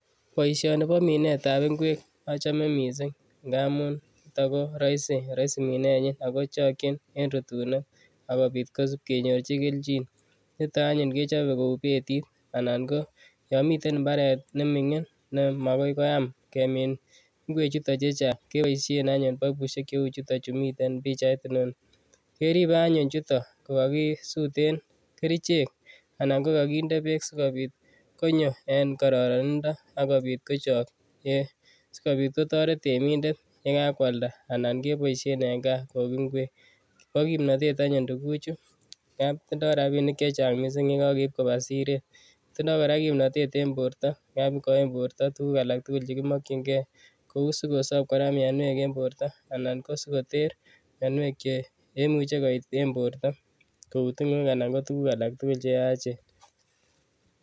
Boisioni bo minetab ingwek achame mising ngamun raisi minenyin ago chokyin en rutunet agopit kisip kenyorchi keljin. Nito anyun kechobe ku betit anan ngo yomiten imbaret nemingin ne magoi koyam kemin ingwechuto che chang keboisien anyun paipusiek cheu choto che miten eng pichait inoni. Keribe anyun chuto kokakisuten kerichek anan ko kakinde beek sigopit konyo en kororonindo agopit kochok sigopit kotoret temindet yekakwalda anan keboisie eng kaa koik ingwek. Bo kimnatet anyun tuguchu ngab tindo rapinik chechang mising yekageip koba siret. Tindo kora kimnatet en borto ngamu igoin borto tuguk alak tugul che kimokyinge kou sigosop kora mianwek eng borta anan ko sigoter mianwek che imuche koit en borto kou tingoek anan ngo tuguk alak tugul che yaachen.